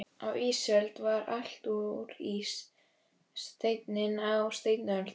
Á ísöld var allt úr ís, steini á steinöld.